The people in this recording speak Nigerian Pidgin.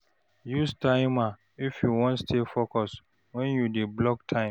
Use timer if you wan stay focused wen you dey block time.